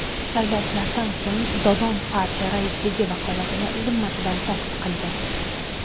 Saylovlardan so‘ng Dodon partiya raisligi vakolatini zimmasidan soqit qildi.